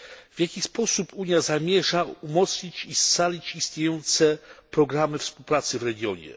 W jaki sposób Unia zamierza umocnić i scalić istniejące programy współpracy w regionie?